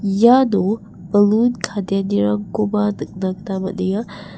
iano balun kadeanirangkoba nikna gita man·enga .